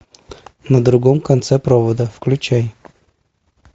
на другом конце провода включай